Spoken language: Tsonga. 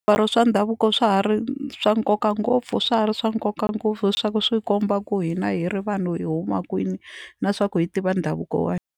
Swimbalo swa ndhavuko swa ha ri swa nkoka ngopfu swa ha ri swa nkoka ngopfu swa ku swi komba ku hina hi ri vanhu hi huma kwini na swa ku hi tiva ndhavuko wa hina.